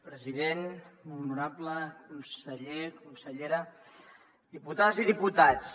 president molt honorable conseller consellera diputades i diputats